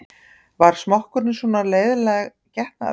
Var smokkurinn svona leiðinleg getnaðarvörn?